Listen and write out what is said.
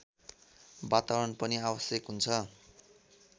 वातावरण पनि आवश्यक हुन्छ